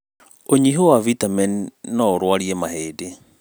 ũnyihu wa vitameni nó ũrũarie mahĩndĩ